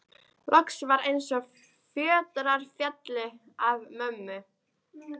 Loks var eins og fjötrar féllu af mömmu.